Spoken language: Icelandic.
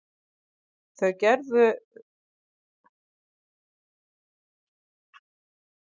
Það gerðu þau hins vegar ekki.